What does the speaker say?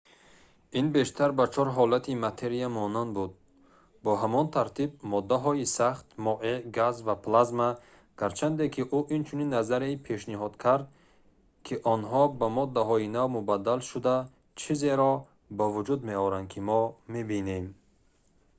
ин бештар ба чор ҳолати материя монанд буд бо ҳамон тартиб: моддаҳои сахт моеъ газ ва плазма гарчанде ки ӯ инчунин назария пешниҳод кард ки онҳо ба моддаҳои нав мубаддал шуда чизеро ба вуҷуд меоранд ки мо мебинем